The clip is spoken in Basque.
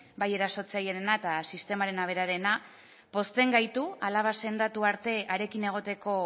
bai erasotzailearena eta sistemarena berarena pozten gaitu alaba sendotu arte harekin egoteko